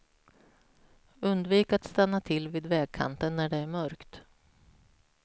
Undvik att stanna till vid vägkanten när det är mörkt.